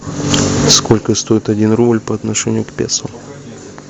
сколько стоит один рубль по отношению к песо